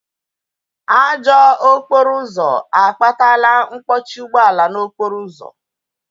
Ajọ okporo ụzọ akpatala mkpọchi ụgbọala n'okporo ụzọ